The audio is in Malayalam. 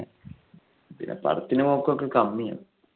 പിന്നെ പടത്തിനു പോക്ക്ഒക്കെ കമ്മി ആണ്.